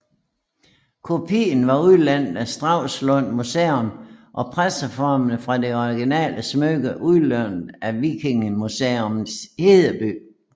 Kopien var udlånt af Stralsund Museum og presseformene fra det originale smykke udlånt af Vikingemuseum Hedeby